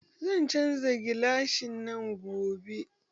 Zan canja gilasin nan gobe